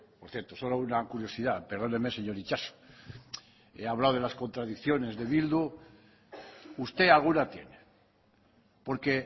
por cierto solo una curiosidad perdóneme señor itxaso he hablado de las contradicciones de eh bildu usted alguna tiene porque